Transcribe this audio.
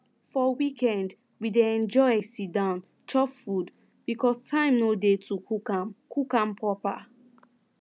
for weekend we dey enjoy siddon chop food because time dey to cook am cook am proper